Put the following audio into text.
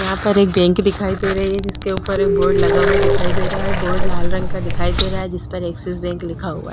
यहां पर एक बैंक दिखाई दे रही है जिसके ऊपर एक बोर्ड लगा हुआ दिखाई दे रहा है बोर्ड लाल रंग का दिखाई दे रहा है जिस पर एक्सिस बैंक लिखा हुआ है।